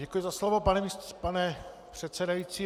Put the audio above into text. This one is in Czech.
Děkuji za slovo, pane předsedající.